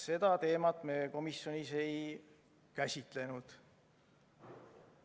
Seda teemat me komisjonis ei käsitlenud.